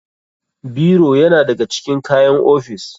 Biro yana da ga cikin kayan ofis.